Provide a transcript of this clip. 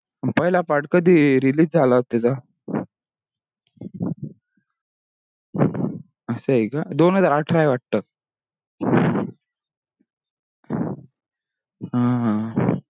अह पहीला part कधी release झाला होता त्याचा अह असा हे का दोन हजार अठरा हे वाटतो